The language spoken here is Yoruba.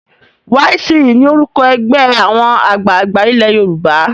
YCE ni orúkọ ẹgbẹ́ àwọn àgbààgbà ilé Yorùbá.